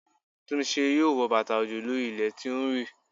Túnmise yóò wọ bàtà òjò lórí ilẹ̀ tí ó ń rì.